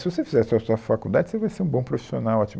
Se você fizer a sua sua faculdade, você vai ser um bom profissional, ótimo.